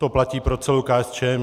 To platí pro celou KSČM.